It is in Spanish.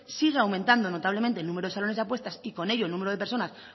sigue aumentando notablemente el número de salones de apuestas y con ello el número de personas